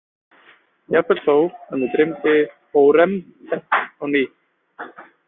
Jafnvel þó að mig dreymdi Hóremheb á ný.